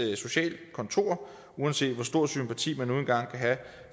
socialkontorer uanset hvor stor sympati man nu engang kan have